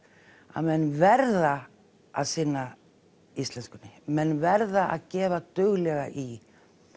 að menn verða að sinna íslenskunni menn verða að gefa duglega í